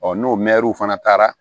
n'o fana taara